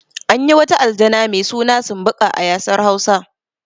Anyi wata aljana mai suna sumbuƙa a ƴasar hausa